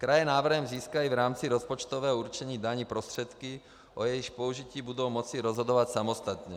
Kraje návrhem získají v rámci rozpočtového určení daní prostředky, o jejichž použití budou moci rozhodovat samostatně.